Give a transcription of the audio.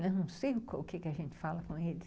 Não sei o quê que a gente fala com eles.